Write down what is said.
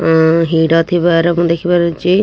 ଉଁ ହିଡ ଥିବାର ମୁଁ ଦେଖି ପାରୁଛି ଏ ଏ --